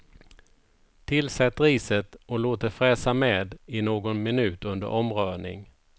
Tillsätt riset och låt det fräsa med i någon minut under omrörning.